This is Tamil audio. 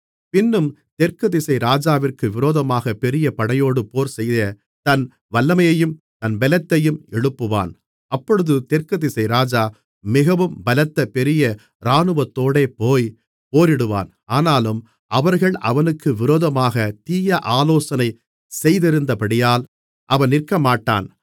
பின்னும் தெற்கு திசை ராஜாவிற்கு விரோதமாகப் பெரிய படையோடே போர்செய்யத் தன் வல்லமையையும் தன் பெலத்தையும் எழுப்புவான் அப்பொழுது தெற்கு திசை ராஜா மிகவும் பலத்த பெரிய இராணுவத்தோடே போய் போரிடுவான் ஆனாலும் அவர்கள் அவனுக்கு விரோதமாகத் தீய ஆலோசனை செய்திருந்தபடியால் அவன் நிற்கமாட்டான்